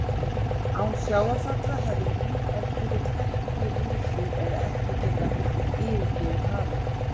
Án sjávarfalla hefði líf ef til vill ekki risið eða ekki getað yfirgefið hafið.